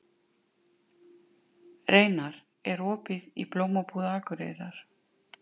Reynar, er opið í Blómabúð Akureyrar?